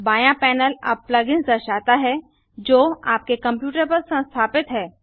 बायाँ पैनल अब plug ins दर्शाता है जो आपके कंप्यूटर पर संस्थापित हैं